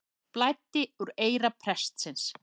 Blæddi úr eyra prestsins